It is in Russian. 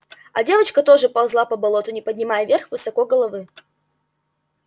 а девочка тоже ползла по болоту не поднимая вверх высоко головы